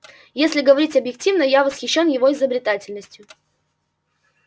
если говорить объективно я восхищен его изобретательностью